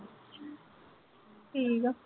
ਠੀਕ ਆ।